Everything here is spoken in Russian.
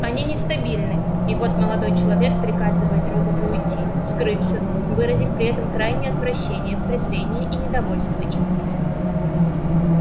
они нестабильны и вот молодой человек приказывает роботу уйти скрыться выразив при этом крайнее отвращение презрение и недовольство им